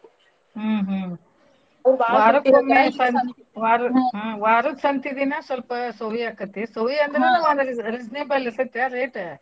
ಹ್ಮ್ ಹ್ಮ್. ವಾರದ್ ಹ್ಮ್ ವಾರದ್ ಸಂತಿ ದಿನಾ ಸ್ವಲ್ಪ ಸೋವಿಯಾಕತಿ ಸೋವಿ ಅಂದ್ರ ಒಂದ್ ರಿಸ್~ reasonable ಇರ್ತೆತಾ rate .